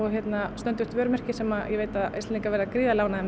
stöndugt vörumerki sem ég veit að Íslendingar verða gríðarlega ánægðir með